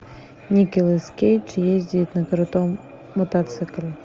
николас кейдж ездит на крутом мотоцикле